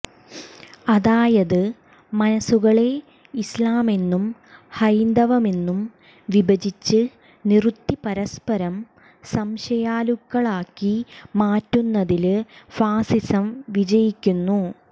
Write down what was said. അതായത് മനസ്സുകളെ ഇസ്ലാമെന്നും ഹൈന്ദവമെന്നും വിഭജിച്ച് നിറുത്തി പരസ്പരം സംശയാലുക്കളാക്കി മാറ്റുന്നതില് ഫാസിസം വിജയിക്കുന്നു